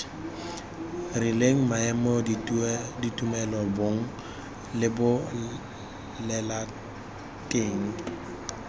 rileng maemo ditumelo bong lebolelateng